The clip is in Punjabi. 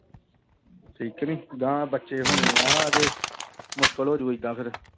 ਠੀਕ ਕਿ ਨਹੀਂ ਗਾਂਹ ਬੱਚੇ ਹੋਣੇ ਆਂ ਹਜੇ ਮੁਸ਼ਕਲ ਹੋ ਜਾਊ ਏਦਾਂ ਫਿਰ।